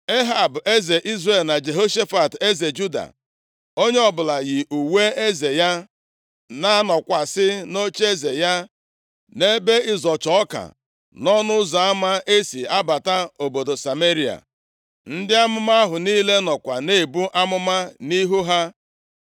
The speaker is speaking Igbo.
Ehab eze Izrel na Jehoshafat eze Juda, onye ọbụla yi uwe eze ya, na-anọkwasị nʼocheeze ya nʼebe ịzọcha ọka nʼọnụ ụzọ ama e si abata obodo Sameria. Ndị amụma ahụ niile nọkwa na-ebu amụma nʼihu ha.